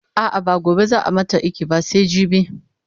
a'a ba gobe zaa mata iki ba sai jibi